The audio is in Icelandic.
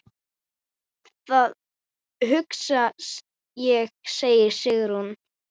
Það hugsa ég, segir Sigrún.